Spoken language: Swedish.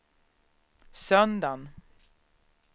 söndagen